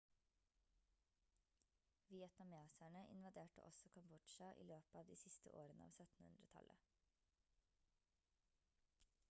vietnameserne invaderte også kambodsja i løpet av de siste årene av 1700-tallet